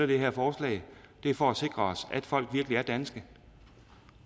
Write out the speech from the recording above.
det her forslag er det for at sikre os at folk virkelig er danske